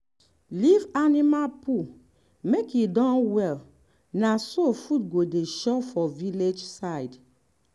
leave animal poo make e done well na so food go dey sure for village side.